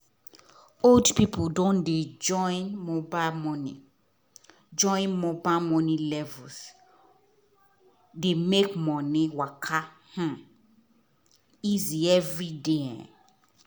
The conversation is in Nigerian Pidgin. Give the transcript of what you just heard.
old people don dey join mobile money join mobile money levels dey make money waka um easy every day. um